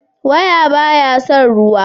waya ba ya san ruwa